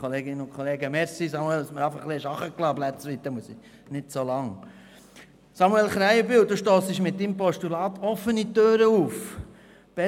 Samuel Krähenbühl, Sie rennen mit Ihrem Postulat offene Türen ein.